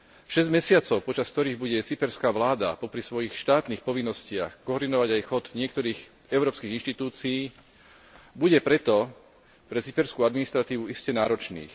Šesť mesiacov, počas ktorých bude cyperská vláda popri svojich štátnych povinnostiach koordinovať aj chod niektorých európskych inštitúcií, bude preto pre cyperskú administratívu iste náročných.